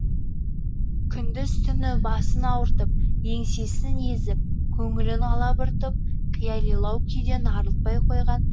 күндіз түні басын ауыртып еңсесін езіп көңілін алабұртып қиялилау күйден арылтпай қойған